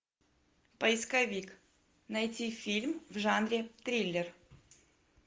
поисковик найти фильм в жанре триллер